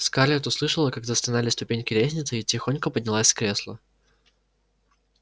скарлетт услышала как застонали ступеньки лестницы и тихонько поднялась с кресла